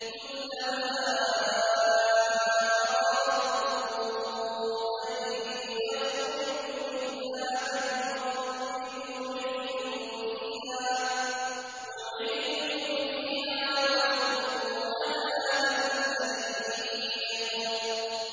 كُلَّمَا أَرَادُوا أَن يَخْرُجُوا مِنْهَا مِنْ غَمٍّ أُعِيدُوا فِيهَا وَذُوقُوا عَذَابَ الْحَرِيقِ